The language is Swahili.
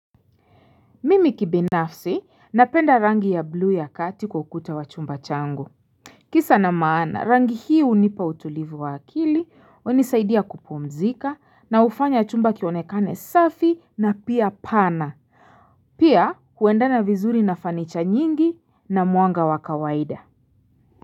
Mimi kibinafsi napenda rangi ya bluu ya kati kukuta wachumba chango Kisa na maana rangi hii unipa utulivu wa akili wanisaidia kupomzika na ufanya chumba kionekane safi na pia pana Pia kuendana vizuri na fanicha nyingi na muanga wakawaida.